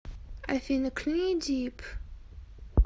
афина кни дип